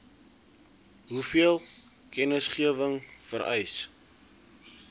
hoeveel kennisgewing vereis